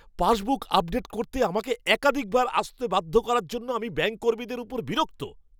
Passbook update করতে আমাকে একাধিকবার আসতে বাধ্য করার জন্য আমি ব্যাঙ্ক কর্মীদের উপর বিরক্ত।